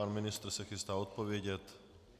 Pan ministr se chystá odpovědět.